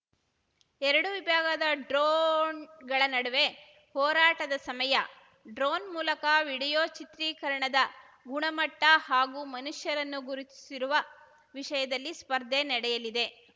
ಎರಡು ವಿಭಾಗದ ಡ್ರೋಣ್‌ಗಳ ನಡುವೆ ಹೋರಾಟದ ಸಮಯ ಡ್ರೋನ್‌ ಮೂಲಕ ವಿಡಿಯೋ ಚಿತ್ರೀಕರಣದ ಗುಣಮಟ್ಟಹಾಗೂ ಮನುಷ್ಯರನ್ನು ಗುರುತಿಸಿರುವ ವಿಷಯದಲ್ಲಿ ಸ್ಪರ್ಧೆ ನಡೆಯಲಿದೆ